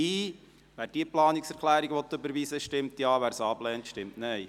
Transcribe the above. Wer diese Planungserklärung überweisen will, stimmt Ja, wer sie ablehnt, stimmt Nein.